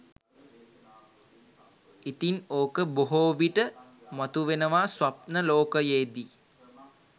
ඉතින් ඕක බොහෝ විට මතුවෙනවා ස්වප්න ලෝකයේදී